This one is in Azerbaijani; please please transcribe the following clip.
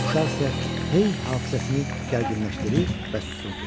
Uşaq isə hey hafizəsini gərginləşdirir və susurdu.